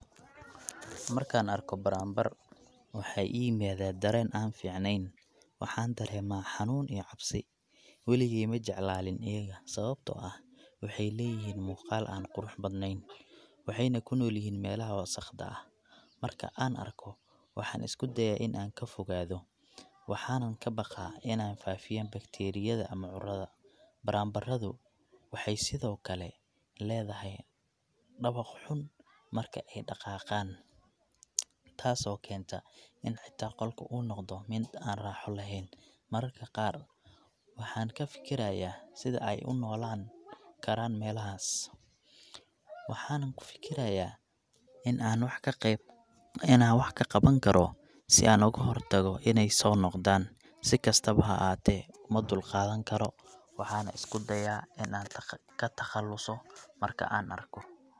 Markaan arko baraanbar, waxaa ii yimaada dareen aan fiicnayn. Waxaan dareemaa xanuun iyo cabsi. Weligey ma jeclaanin iyaga, sababtoo ah waxay leeyihiin muuqaal aan qurux badnayn, waxayna ku noolyihiin meelaha wasakhda ah. Marka aan arko, waxaan isku dayaa in aan ka fogaado, waxaana ka baqaa inay faafiyaan bakteeriyada ama cudurada. Baraambaradu waxay sidoo kale leedahay dhawaq xun marka ay dhaqaaqaan, taasoo keenta in xitaa qolka uu noqdo mid aan raaxo lahayn. Mararka qaar waxaan ka fekerayaa sida ay u noolaan karaan meelahaas, waxaanan ku fikirayaa in aan wa ka qe.., in aan wax ka qaban karo si aan uga hortago inay soo noqdaan. Si kastaba ha ahaatee, uma dulqaadan karo, waxaana isku dayaa in aan ka takhaluso marka aan arko.